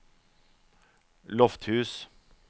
Lofthus